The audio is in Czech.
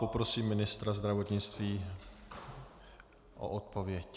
Poprosím ministra zdravotnictví o odpověď.